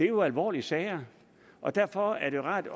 jo alvorlige sager og derfor er det rart